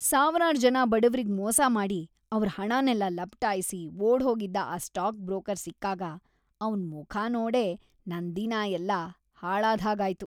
ಸಾವ್ರಾರ್ ‌ಜನ ಬಡವ್ರಿಗ್ ಮೋಸ ಮಾಡಿ ಅವ್ರ್ ಹಣನೆಲ್ಲ ಲಪಟಾಯ್ಸಿ ಓಡ್ಹೋಗಿದ್ದ ಆ ಸ್ಟಾಕ್ ಬ್ರೋಕರ್ ಸಿಕ್ಕಾಗ ಅವ್ನ್‌ ಮುಖ ನೋಡೇ ನನ್‌ ದಿನ ಎಲ್ಲ ಹಾಳಾದ್ಹಾಗಾಯ್ತು.